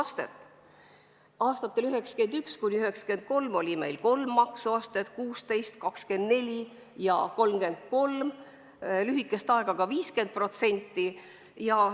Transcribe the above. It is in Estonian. Aastatel 1991–1993 oli meil kolm maksuastet: 16%, 24% ja 33%, lühikest aega ka 50%.